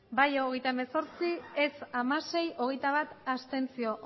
bai hogeita hemezortzi ez hamasei abstentzioak